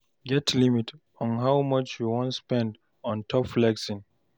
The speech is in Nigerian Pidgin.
Get limit for how much you wan spend on top flexing